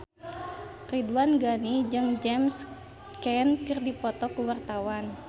Ridwan Ghani jeung James Caan keur dipoto ku wartawan